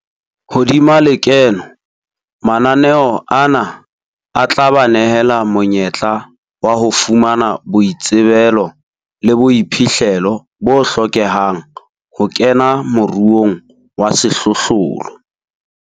Hodima lekeno, mananeo ana a tla ba nehela monyetla wa ho fumana boitsebelo le boiphihlelo bo hlokehang ho kena moruong wa sehlohlolo.